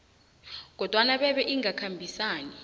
kodwana bebe ingakhambisani